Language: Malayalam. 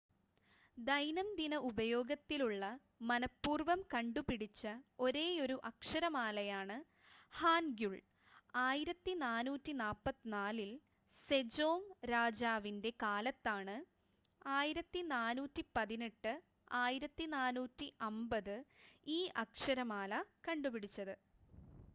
ദൈനംദിന ഉപയോഗത്തിലുള്ള മനഃപൂർവ്വം കണ്ടുപിടിച്ച ഒരേയൊരു അക്ഷരമാലയാണ് ഹാൻഗ്യുൾ. 1444-ൽ സെജോങ് രാജാവിന്റെ കാലത്താണ് 1418 -1450 ഈ അക്ഷരമാല കണ്ടുപിടിച്ചത്